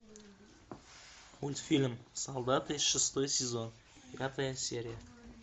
мультфильм солдаты шестой сезон пятая серия